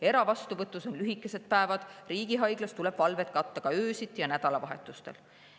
Eravastuvõtus on lühikesed päevad, riigihaiglas tuleb valved katta ka öösiti ja nädalavahetustel.